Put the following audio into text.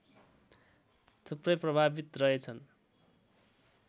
थुप्रै प्रभावित रहेछन्